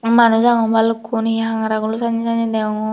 manuj agon balukkun he hangara gulo senne senne degongor.